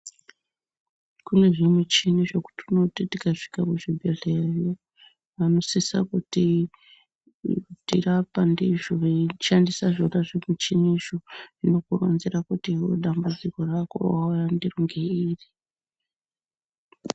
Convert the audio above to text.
Kune zvimuchini zvekuti unoti tikasvika muchibhehleyayo, vanosise kutirapa ndizvo veishandisa zvona zvimuchinizvo. Zvinokuronzera kuti iwewe dambudziko rako rawauya ndiro ngeiri.